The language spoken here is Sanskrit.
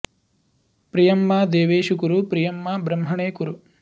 प्रि॒यं मा॑ दे॒वेषु॑ कुरु प्रि॒यं मा॒ ब्रह्म॑णे कुरु